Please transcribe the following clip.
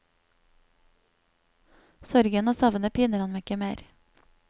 Sorgen og savnet piner ham ikke mer.